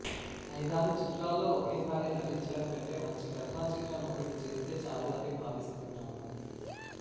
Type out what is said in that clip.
ఐదారు చిత్రాల్లో ఒకే సారి నటించడం కంటే మంచి కథా చిత్రం ఒక్కటి చేస్తే చాలు అని భావిస్తున్నాను